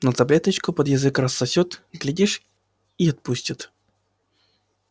но таблеточку под язык рассосётся глядишь и отпустит